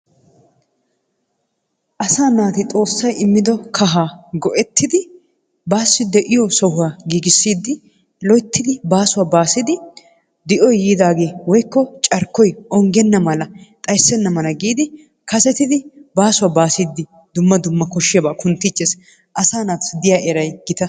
Asaa naati xoossay immido kahaa go"ettidi baassi de"iyo sohuwa giigissidi loyttidi baasuwa baasidi di"oyi yiidaagee woykko carkkoyi onggenna mala xayssenna mala giidi kasetidi baasuwa baasiiddi dumma dumma koshshiyabaa kunttiichches asaa naatussi diya erayi gita.